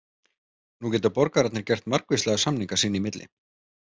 Nú geta borgararnir gert margvíslega samninga sín í milli.